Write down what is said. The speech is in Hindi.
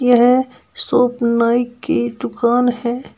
यह शॉप नाई की दुकान है।